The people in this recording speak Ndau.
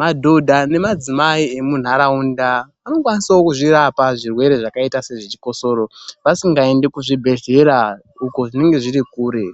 Madhodha nemadzimai emuntaraunda anokwanisawo kuzvirapa zvirwere zvakaita sezvechikosoro, vasingaendi kuzvibhedhlera uko zvinenge zviri kure,